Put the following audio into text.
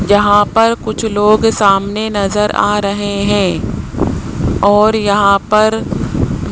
यहां पर कुछ लोग सामने नज़र आ रहे है और यहां पर --